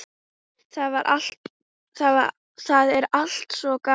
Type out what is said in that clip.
Það er allt svo gaman.